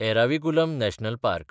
Eravikulam national park